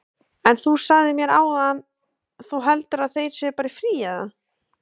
Gunnar: En þú sagðir mér áðan, þú heldur að þeir séu bara í fríi, eða?